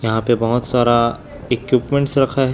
यहां पे बहुत सारा इक्विपमेंट्स रखा है।